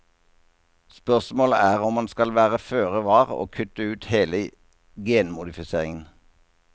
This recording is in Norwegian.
Spørsmålet er om man skal være føre var og kutte ut hele genmodifiseringen.